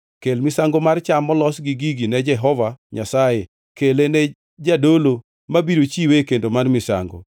Kel misango mar cham molos gi gigi ne Jehova Nyasaye, kele ne jadolo, mabiro chiwe e kendo mar misango.